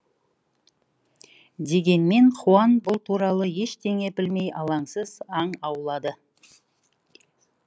дегенмен хуан бұл туралы ештеңе білмей алаңсыз аң аулады